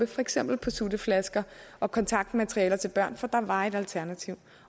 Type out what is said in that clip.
for eksempel sutteflasker og kontaktmateriale til børn for der var et alternativ